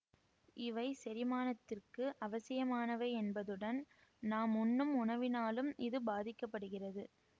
இவை செரிமானத்திற்கு அவசியமானவை என்பதுடன் நாம் உண்ணும் உணவினாலும் இது பாதிக்க படுகிறது